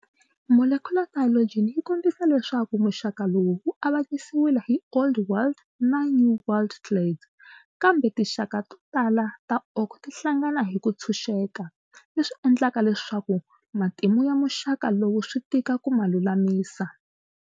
Molecular phylogeny yikombisa leswaku muxaka lowu wu avanyisiwile hi Old World na New World clades, kambe tinxaka totala ta oak ti hlangana hiku ntshunxeka, leswi endlaka leswaku matimu ya muxaka lowu switika ku ma lulamisa.